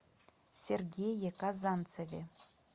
сергее казанцеве